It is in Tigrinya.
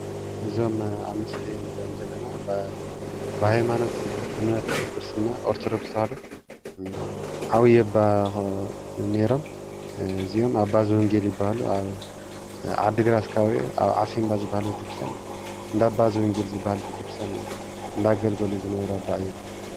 እዞም ኣብ ምስሊ ንርእዮም ዘለና ኣባ ብሃማኖት እምነት ክርስትና ኦርተዶክስ ተዋህዶ ዓብዪ ኣባ ኾል ነይሮም። እዚኦም ኣባ ዘወንጌል ይባሃሉ። ኣብ ዓዲ ግራት ከባቢ እዩ ኣብ ዓሲምባ ዝባሃል ቤተ ክርስትያን እንዳባ ዘወንጌል ዝባሃል ቤተ ክርስትያን እንዳገልገሉ ዝነበሩ ኣባ እዮም።